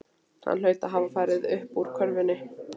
Hann hlaut að hafa farið uppúr körfunni.